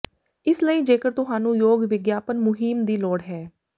ਇਸ ਲਈ ਜੇਕਰ ਤੁਹਾਨੂੰ ਯੋਗ ਵਿਗਿਆਪਨ ਮੁਹਿੰਮ ਦੀ ਲੋੜ ਹੈ